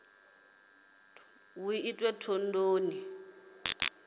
thondoni